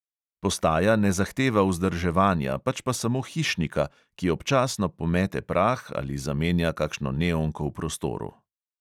Postaja ne zahteva vzdrževanja, pač pa samo hišnika, ki občasno pomete prah ali zamenja kakšno neonko v prostoru.